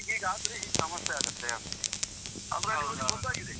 ಹೀಗಿಗ್ ಆದ್ರೆ ಹೀಗೆ ಸಮಸ್ಯೆ ಆಗತ್ತೆ ಅಂತೇಳಿ. ಅಂದ್ರೆ ಅವರಿಗೆ ಗೊತ್ತಾಗಿದೆ.